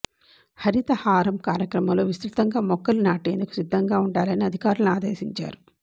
హరితహారం కార్యక్రమంలో విసృతంగా మొక్కలు నాటేందుకు సిద్దంగా ఉండాలని అధికారులను ఆదేశించారు